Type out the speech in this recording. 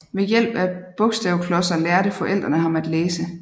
Ved hjælp af bogstavklodser lærte forældrene ham at læse